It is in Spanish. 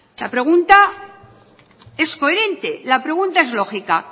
la pregunta es coherente la pregunta es lógica